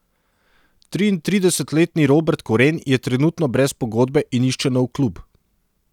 Triintridesetletni Robert Koren je trenutno brez pogodbe in išče nov klub.